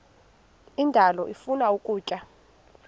indalo ifuna ukutya